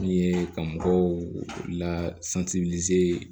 Min ye ka mɔgɔw la